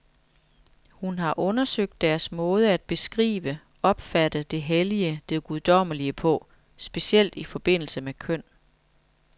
Hun har undersøgt deres måde at beskrive, opfatte det hellige, det guddommelige på, specielt i forbindelse med køn.